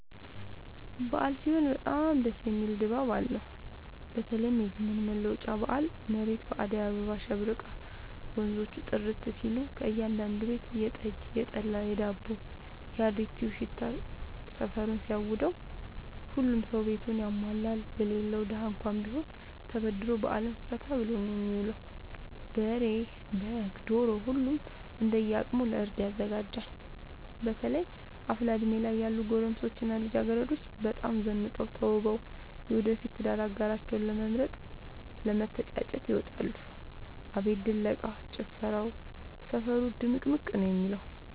አበዓል ሲሆን በጣም ደስ የሚል ድባብ አለው በተለይም የዘመን መለወጫ በአል መሬት በአዳይ አሸብርቃ ወንዞቹ ጥርት ሲሉ ከእያዳዱ ቤት የጠጅ፣ የጠላ የዳቦው።፣ የአሪቲው ሽታ ሰፈሩን ሲያውደው። ሁሉም ሰው ቤቱን ያሟላል የሌለው ደሀ እንኳን ቢሆን ተበድሮ በአልን ፈታ ብሎ ነው የሚውለው። በሬ፣ በግ፣ ዶሮ ሁሉም እንደየ አቅሙ ለእርድ ያዘጋጃል። በተለይ አፍላ እድሜ ላይ ያሉ ጎረምሶች እና ልጃገረዶች በጣም ዘንጠው ተውበው የወደፊት የትዳር አጋራቸውን ለመምረጥ ለመተጫጨት ይወጣሉ። አቤት ድለቃ፣ ጭፈራው ሰፈሩ ድምቅምቅ ነው የሚለው።